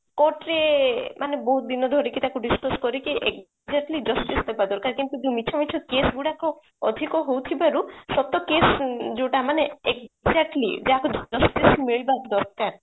court ରେ ମାନେ ବହୁତ ଦିନ ଧରିକି ତାକୁ ଆମେ discuss କରିକି exactly justice ଦବା କଥା କିନ୍ତୁ ଯୋଉ ମିଛ ମିଛ case ଗୁଡାକ ଅଧିକ ହଉଥିବାରୁ ସତ case ଯୋଉଟା ମାନେ exactly ଯାହାକୁ justice ମିଳିବା ଦରକାର